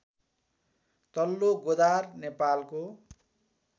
तल्लो गोदार नेपालको